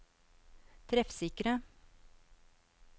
treffsikre